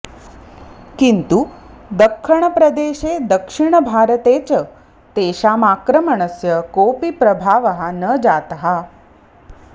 किन्तु दख्खणप्रदेशे दक्षिणभारते च तेषाम् आक्रमणस्य कोऽपि प्रभावः न जातः